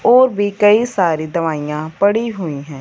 और भी कई सारी दवाइयां पड़ी हुईं हैं।